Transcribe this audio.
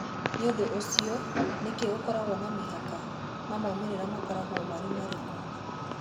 Nĩ ũndũ ũcio nĩkĩ kũrĩ na mĩhaka na moimĩrĩro makoragwo marĩ marĩkũ?